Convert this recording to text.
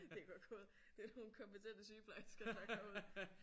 Det er godt gået. Det er nogle kompetente sygeplejersker der går ud